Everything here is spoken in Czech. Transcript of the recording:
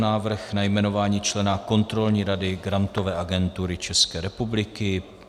Návrh na jmenování člena Kontrolní rady Grantové agentury České republiky